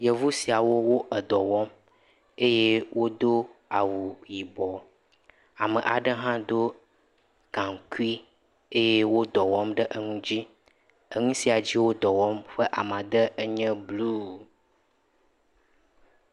Yevu siawo dɔ wɔm eye woɖo awu yibɔ. Ame aɖe hã ɖo gankui ye woɖɔ wɔm ɖe enu dzi. Enu sia ɖe enye blu